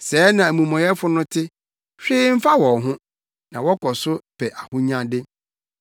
Sɛɛ na amumɔyɛfo no te, hwee mfa wɔn ho, na wɔkɔ so pɛ ahonyade.